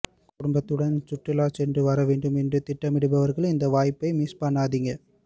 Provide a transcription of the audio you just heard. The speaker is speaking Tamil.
குடும்பத்துடன் சுற்றுலா சென்று வர வேண்டும் என்று திட்டமிட்டிருப்பவர்கள் இந்த வாய்ப்பை மிஸ் பண்ணாதீங்க